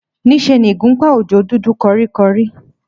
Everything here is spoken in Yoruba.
Níṣe ni ìgúnpá Òjó dúdú kọríkọrí